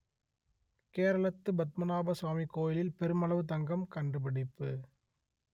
கேரளத்து பத்மநாப சுவாமி கோயிலில் பெருமளவு தங்கம் கண்டுபிடிப்பு